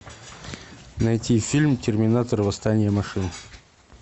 найти фильм терминатор восстание машин